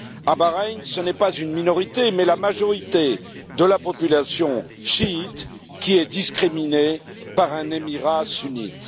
À Bahreïn, ce n'est pas une minorité, mais la majorité de la population chiite qui est discriminée par un émirat sunnite.